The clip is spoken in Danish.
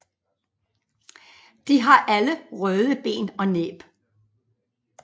De har alle røde ben og næb